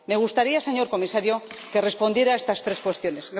Me gustaría, señor Comisario, que respondiera a estas tres cuestiones.